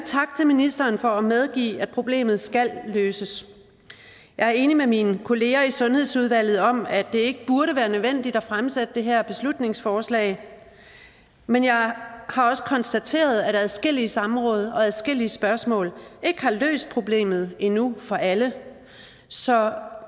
ministeren for at medgive at problemet skal løses jeg er enig med mine kollegaer i sundhedsudvalget om at det ikke burde være nødvendigt at fremsætte det her beslutningsforslag men jeg har også konstateret at adskillige samråd og adskillige spørgsmål ikke har løst problemet endnu for alle så